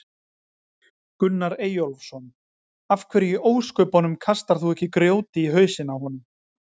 Gunnar Eyjólfsson: Af hverju í ósköpunum kastar þú ekki grjóti í hausinn á honum?